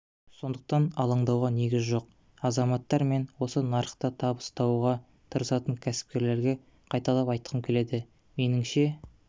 сондықтан алаңдауға негіз жоқ азаматтар мен осы нарықта табыс табуға тырысатын кәсіпкерлерге қайталап айтқым келеді меніңше